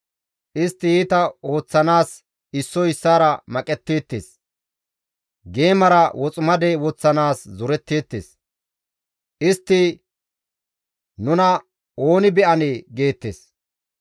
Istti iita ooththanaas issoy issaara maqetteettes; geemara woximade woththanaas zoretteettes; istti, «Nuna ooni be7anee?» geettes.